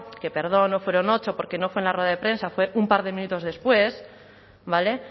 que perdón no fueron ocho porque no fue en la rueda de prensa fue un par de minutos después vale